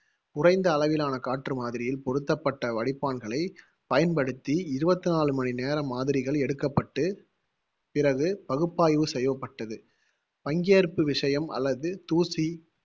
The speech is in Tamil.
குறைந்த அளவிலான காற்று மாதிரியில் பொருத்தப்பட்ட வடிப்பான்களைப் பயன்படுத்தி இருவத்தி நாலு மணி நேர மாதிரிகள் எடுக்கப்பட்டு பிறகு பகுப்பாய்வு செய்யப்பட்டது பங்கேற்பு விஷயம் அல்லது தூசி